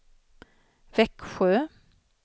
Växjö